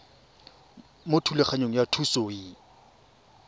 mo thulaganyong ya thuso y